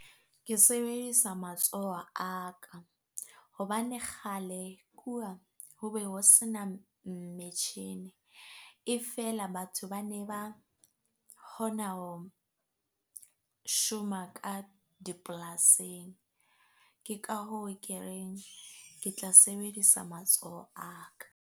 Ke sebedisa matsoho a ka hobane kgale kuwa ho be ho sena metjhini e feela, batho bane ba hona ho shoma ka dipolasing. Ke ka hoo ke reng ke tla sebedisa matsoho a ka.